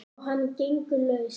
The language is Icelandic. Og hann gengur laus!